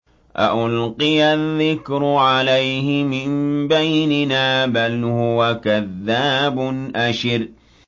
أَأُلْقِيَ الذِّكْرُ عَلَيْهِ مِن بَيْنِنَا بَلْ هُوَ كَذَّابٌ أَشِرٌ